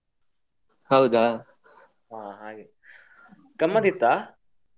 ಹೌದಾ ಗಮ್ಮತ್ ಇತ್ತ.